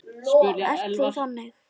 Ert þú þannig?